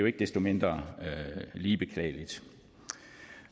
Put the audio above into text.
ikke desto mindre lige beklageligt